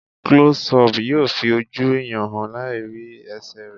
Klọ́sí ọpù yóò fi ojú ẹ̀yàn hàn láì rí ẹsẹ̀ rẹ̀.